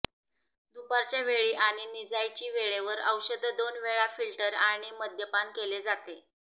दुपारच्या वेळी आणि निजायची वेळेवर औषध दोन वेळा फिल्टर आणि मद्यपान केले जाते